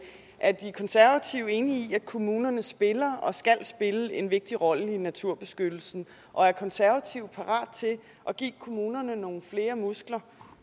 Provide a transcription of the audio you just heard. er de konservative enige i at kommunerne spiller og skal spille en vigtig rolle i naturbeskyttelsen og er de konservative parat til at give kommunerne nogle flere muskler